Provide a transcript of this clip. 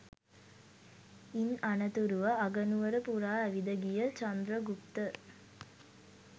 ඉන් අනතුරුව අගනුවර පුරා ඇවිද ගිය චන්ද්‍රගුප්ත